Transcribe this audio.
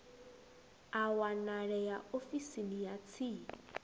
a wanalea ofisini ya tsini